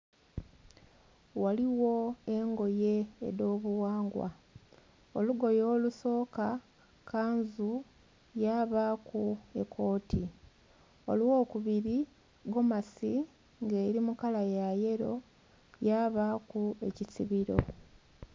Ghaligho engoye edho bughangwa olugoye olusoka, kanzu kyabaku ekooti eyo kubiri egomasi nga eri mu kala ya yello ya baku ekisibiro.